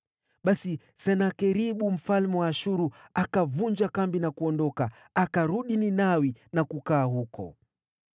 Basi Senakeribu mfalme wa Ashuru akavunja kambi na kuondoka. Akarudi Ninawi na kukaa huko.